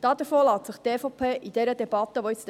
Davon lässt sich die EVP in der folgenden Debatte leiten.